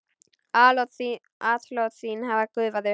Atlot þín hafa gufað upp.